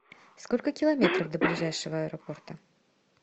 сколько километров до ближайшего аэропорта